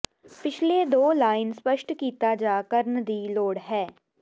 ਪਿਛਲੇ ਦੋ ਲਾਈਨ ਸਪੱਸ਼ਟ ਕੀਤਾ ਜਾ ਕਰਨ ਦੀ ਲੋੜ ਹੈ